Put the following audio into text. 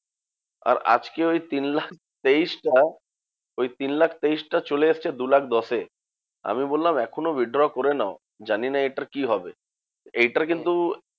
আর আজকে ওই তিন লাখ তেইশ টা, ওই তিন লাখ তেইশ টা চলে এসেছে দু লাখ দশে। আমি বললাম এখনও withdraw করে নাও, জানিনা এটার কি হবে? এইটার কিন্তু